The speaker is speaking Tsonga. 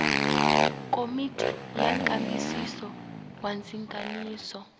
komiti ya nkambisiso wa ndzinganiso